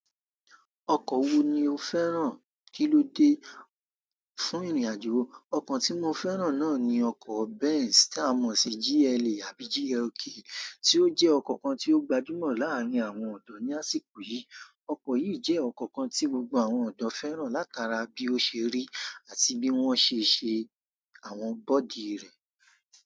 Ọkọ̀ wo ni ó fẹ́ràn kíló dé fún ìrìnàjò? Ọkọ̀ tí mo fẹ́ràn náà ni ọkọ̀ Benz, táa mọ̀ sí GLE àbí GLK, tí ó jẹ́ ọkọ̀ kan tí ó gbajúmọ̀ láàárin àwọn ọ̀dọ́ ní àsìkò yìí. Ọkọ̀ yìí jẹ́ ọkọ̀ kan tí gbogbo àwọn ọ̀dọ́ fẹ́ràn látara bí ó ṣe rí àti bí wọ́n ṣe ṣe àwọn body rẹ̀.